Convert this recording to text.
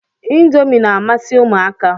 Indomi na-amasị ụmụaka.